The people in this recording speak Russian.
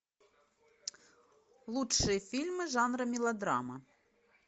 лучшие фильмы жанра мелодрама